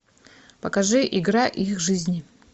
покажи игра и их жизни